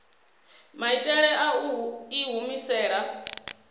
maitele a u i humisela